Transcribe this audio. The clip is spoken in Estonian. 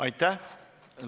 Aitäh!